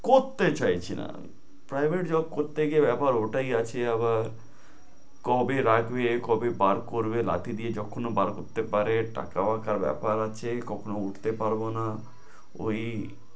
করতে চাইছি না আমি। Private job করতে গিয়ে ব্যাপার ওটাই আছে আবার কবে রাখবে, কবে পার করবে, লাথি দিয়ে যখনও বার করতে পারে, টাকাও একটা ব্যাপার আছে, কখনো উঠতে পারবো না, ঐ